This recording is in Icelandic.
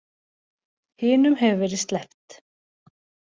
Hinum hefur verið sleppt